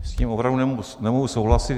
S tím opravdu nemohu souhlasit.